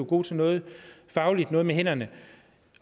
god til noget fagligt noget med hænderne